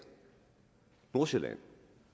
nordsjælland